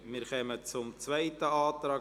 Wir kommen zum Antrag